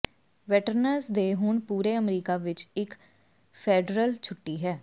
veterans day ਹੁਣ ਪੂਰੇ ਅਮਰੀਕਾ ਵਿੱਚ ਇੱਕ ਫੈਡਰਲ ਛੁੱਟੀ ਹੈ